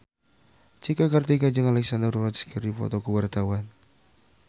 Cika Kartika jeung Alexandra Roach keur dipoto ku wartawan